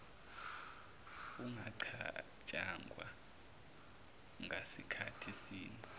ungacatshangwa ngasikhathi sini